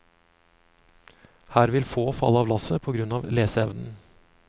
Her vil få falle av lasset på grunn av leseevnen.